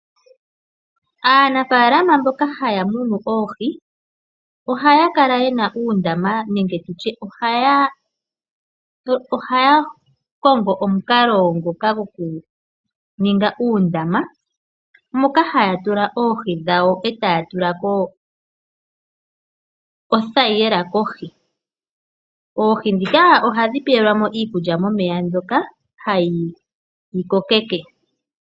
Aanafaalama mboka haya munu oohi ohaya kala ye na uundama nenge haya kongo omukalo goku ninga uundama moka haya tula. oohi dhawo e ta ya tula ko othayila kohi. Oohi ndhika ohadhi pewelwamo iikulya mbyoka ha dhi dhi kokeke.